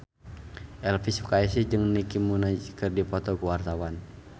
Elvi Sukaesih jeung Nicky Minaj keur dipoto ku wartawan